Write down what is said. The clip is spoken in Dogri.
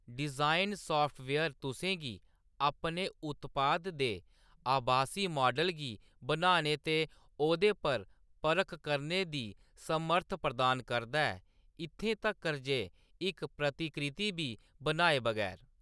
डिजाइन साफ्टवेयर तु'सें गी अपने उत्पाद दे आभासी माडल गी बनाने ते ओह्दे पर परख करने दी समर्थ प्रदान करदा ऐ, इत्थें तक्कर ​​जे इक प्रतिकृति बी बनाए बगैर।